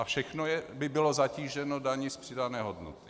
A všechno by bylo zatíženo daní z přidané hodnoty.